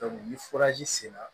ni sera